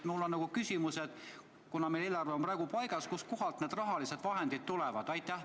Mul on küsimus: kuna meil eelarve on praegu paigas, siis kust kohast need summad tulevad?